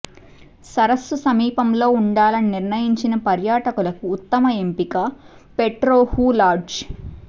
సరస్సు సమీపంలో ఉండాలని నిర్ణయించిన పర్యాటకులకు ఉత్తమ ఎంపిక పెట్రోహూ లాడ్జ్